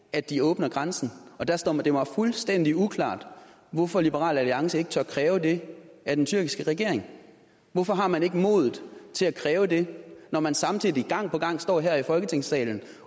at de åbner grænsen og der står det mig fuldstændig uklart hvorfor liberal alliance ikke tør kræve det af den tyrkiske regering hvorfor har man ikke modet til at kræve det når man samtidig gang på gang står her i folketingssalen